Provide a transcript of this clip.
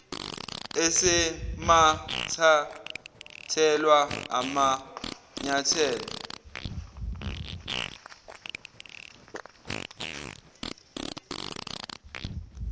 eseke wathathelwa amanyathelo